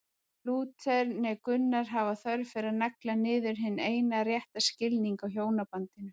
Lúther né Gunnar hafa þörf fyrir að negla niður hinn eina rétta skilning á hjónabandinu.